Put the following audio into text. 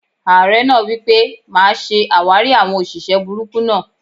Ààrẹ náà wipe: "Máa ṣe àwárí àwọn òṣìṣẹ́ burúkú náà!"